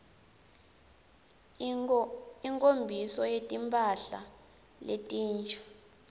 inkho mbiso yetimphla letinsha